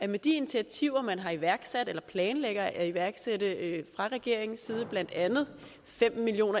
med de initiativer man har iværksat eller planlægger at iværksætte fra regeringens side blandt andet fem million